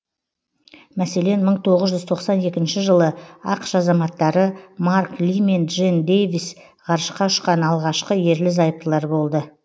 мәселен мың тоғыз жүз тоқсан екінші жылы ақш азаматтары марк ли мен джен дейвис ғарышқа ұшқан алғашқы ерлі зайыптылар болды